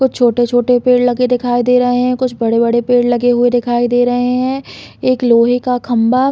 कुछ छोटे -छोटे पेड़ लगे दिखाई दे रहे है कुछ बड़े- बड़े पेड़ लगे हुए दिखाई दे रहे है एक लोहे का खम्बा --